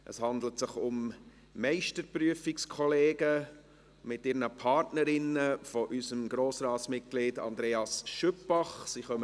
Es handelt sich um Meisterprüfungskollegen unseres Grossratsmitglieds Andreas Schüpbach mit ihren Partnerinnen.